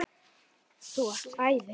Þú varst æði.